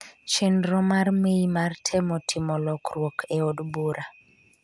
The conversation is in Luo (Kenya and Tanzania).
chenro mar May mar temo timo lokruok e od bura.